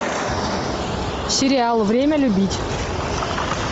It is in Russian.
сериал время любить